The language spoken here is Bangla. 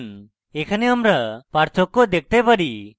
এখানে আমরা পার্থক্য দেখতে পারি